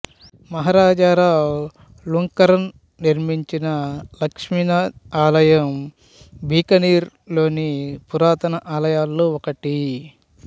మహారాజా రావు లుంకరన్ నిర్మించిన శ్రీ లక్ష్మీనాథ్ ఆలయం బికనీర్ లోని పురాతన ఆలయాలలో ఒకటి